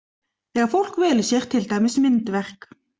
Þegar fólk velur sér til dæmis myndverk.